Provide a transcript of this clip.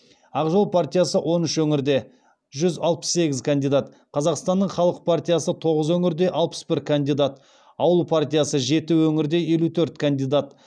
ақ жол партиясы он үш өңірде жүз алпыс сегіз кандидат қазақстанның халық партиясы тоғыз өңірде алпыс бір кандидат ауыл партиясы жеті өңірде елу төрт кандидат